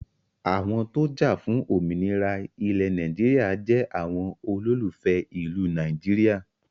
Àwọn tó jafun òmìnira ilẹ̀ Nàìjíríà jẹ àwọn olólùfẹ́ ìlú Nàìjíríà